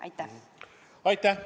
Aitäh!